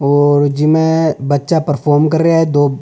और जिमे बच्चा प्रोफाम कर रेहा है दो --